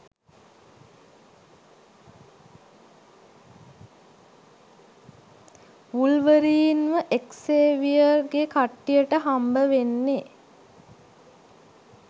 වුල්වරීන්ව Xavier ගෙ කට්ටියට හම්බවෙන්නේ